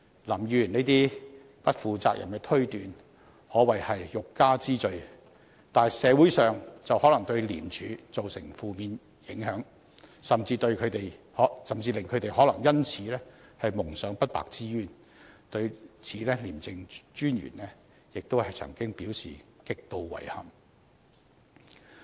林議員這些不負責任的推斷，可謂欲加之罪，但社會卻可能因此對廉署產生負面印象，他們甚至可能因而蒙上不白之冤，廉政專員亦曾對此表示極度遺憾。